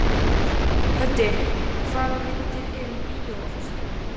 Höddi, hvaða myndir eru í bíó á föstudaginn?